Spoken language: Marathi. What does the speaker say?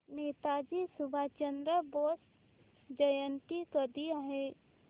नेताजी सुभाषचंद्र बोस जयंती कधी आहे